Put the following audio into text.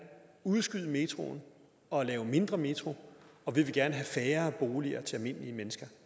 udskyde metroen og lave mindre metro og vi vil gerne have færre boliger til almindelige mennesker